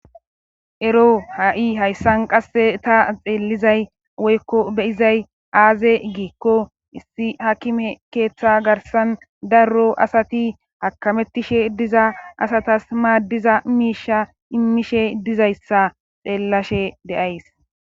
Ero ha,i hayssan qasse ta xeellizay woykko beyizay aaze giikko issi hakime keeththa garsan darro asati hakamettishe diza asatas maaddiza miisha immishe dizayssa xeellashe deays